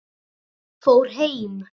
Fór heim?